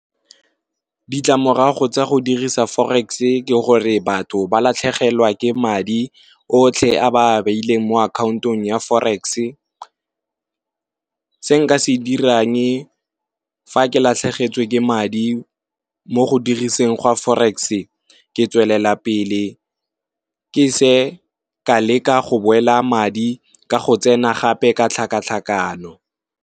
Ditlamorago tsa go dirisa forex ke gore batho ba latlhegelwa ke madi otlhe a ba a beileng mo akhaontong ya forex. Se nka se dirang fa ke latlhegetswe ke madi mo go diriseng gwa forex, ke tswelela pele ke se ka leka go boela madi ka go tsena gape ka tlhakatlhakano.